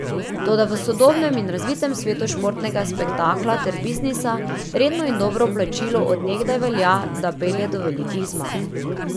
Toda v sodobnem in razvitem svetu športnega spektakla ter biznisa redno in dobro plačilo od nekdaj velja, da pelje do velikih zmag.